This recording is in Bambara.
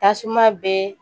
Tasuma bɛ